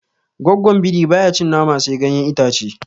Goggon biri baya cin nama sai ganyen itace